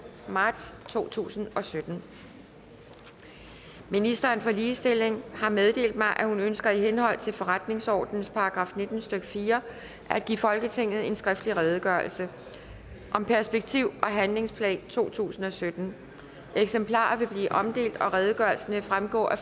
marts to tusind og sytten minister for ligestilling har meddelt mig at hun ønsker i henhold til forretningsordenens § nitten stykke fire at give folketinget en skriftlig redegørelse om perspektiv og handlingsplan totusinde og syttende eksemplarer vil blive omdelt og redegørelsen vil fremgå af